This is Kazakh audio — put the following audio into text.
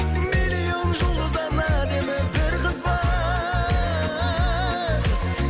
миллион жұлдыздан әдемі бір қыз бар